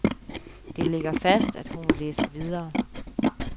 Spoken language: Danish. Det ligger fast, at hun vil læse videre.